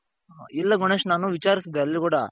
ಇಲ್ಲ ಗಣೇಶ್ ನಾನು ವಿಚಾರುಸ್ದೇ ಅಲ್ಲೂ ಕೂಡ.